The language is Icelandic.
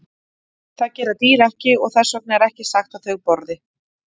Það gera dýr ekki og þess vegna er ekki sagt að þau borði.